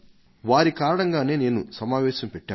వారి కారణంగానే నేను సమావేశం పెట్టాను